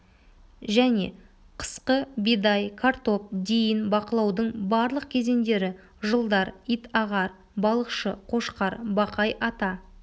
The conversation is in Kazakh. және қысқы бидай картоп дейін бақылаудың барлық кезеңдері жылдар ит-ағар балықшы қошқар бақай-ата